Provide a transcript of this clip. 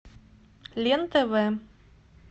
лен тв